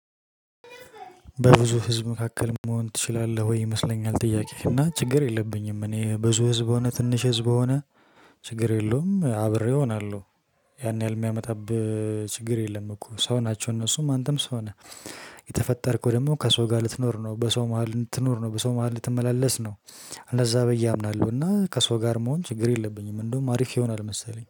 በብዙ ህዝብ መካከል መሆን ትችላለህ ወይ? ይመስለኛል ጥያቄህ እና ችግር የለብኝም እኔ ብዙ ህዝብ ሆነ ትንሽ ህዝብ ሆነ ችግር የለውም አብሬ እሆናለሁ። ያን ያህል የሚያመጣብህ ችግር የለም እኮ ሰው ናቸው እነሱም አንተም ሰው ነህ። የተፈጠርከው ደግሞ ከሰው ጋር ልትኖር ነው በሰው መሃል ልትኖር ነው በሰው መሃል ልትመላለስ ነው። እንደዛ ብዬ አምናለሁ እና ከሰው ጋር መሆን ችግር የለብኝም። እንደውም አሪፍ ይሆናል መሰለኝ